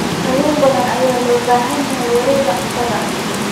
Kalluun badan ayaa loo baahan yahay wareegga cuntada.